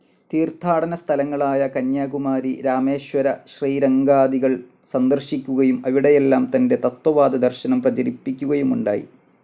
തീർത്ഥാടന സ്ഥലങ്ങളായ കന്യാകുമാരി, രാമേശ്വര, ശ്രീരംഗാദികൾ സന്ദർശിക്കുകയും അവിടെയെല്ലാം തന്റെ തത്ത്വവാദ ദർശനം പ്രചരിപ്പിക്കുകയുമുണ്ടായി.